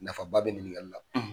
Nafa ba bɛ ɲiningali la.